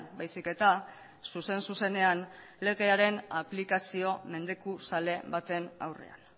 baizik eta zuzen zuzenean legearen aplikazio mendekuzale baten aurrean